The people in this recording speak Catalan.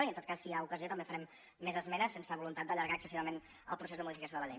i en tot cas si n’hi ha ocasió també farem més esmenes sense voluntat d’allargar excessivament el procés de modificació de la llei